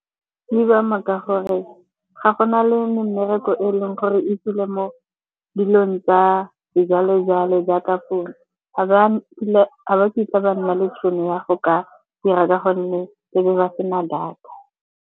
Di buwa maaka gore ga go na le mmereko e leng gore e tswile mo dilong tsa sejwalejwale jaaka founo. Ga ba kitla ba nna le tšhono ya go ka dira ka gonne e be ba sena data.